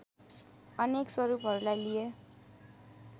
अनेक स्वरूपहरूलाई लिए